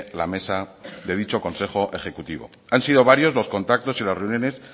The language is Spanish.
la mesa de dicho consejo ejecutivo han sido varios los contactos y las reuniones